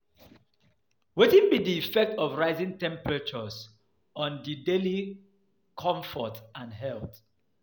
wetin be di effect of rising temperatures on di daily comfort and health?